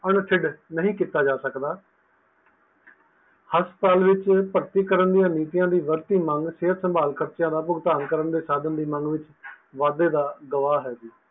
ਨਹੀਂ ਕੀਤਾ ਜਾ ਸਕਦਾ ਹਸਪਤਾਲ ਵਿਚ ਭਰਤੀ ਕਰਨ ਦੀਆ ਨੀਤੀਆਂ ਵਿੱਚ ਵੱਧਦੀ ਮੰਗ ਸਿਹਤ ਸੰਭਾਲ ਖਰਚਿਆਂ ਦਾ ਭੁਗਤਾਨ ਕਰਨ ਦੇ ਸਾਧਨ ਦੀ ਮੰਗ ਵਿੱਚ ਵਾਧੇ ਦਾ ਗਵਾਹ ਹੈ ਜੀ